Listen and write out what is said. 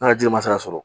N'a jiri ma sara